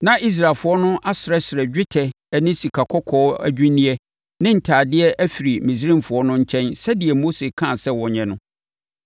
Na Israelfoɔ no asrɛsrɛ dwetɛ ne sikakɔkɔɔ adwinneɛ ne ntadeɛ afiri Misraimfoɔ no nkyɛn sɛdeɛ Mose kaa sɛ wɔnyɛ no.